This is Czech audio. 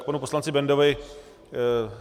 K panu poslanci Bendovi.